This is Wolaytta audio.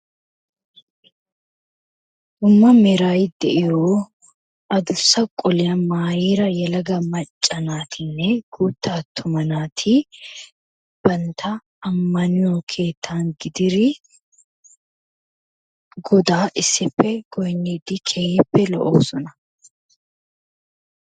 Dumma meeray de'iyo adussa qoliya maayida yelaga macca naatine guuta attuma naati bantta ammaniyo keettan gididi godaa issippe goynidi keehippe lo'osona.